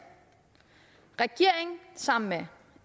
regeringen sammen med